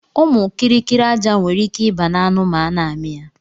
Ụmụ kiri kiri aja nwere ike iba na anụ ma ana ami ya.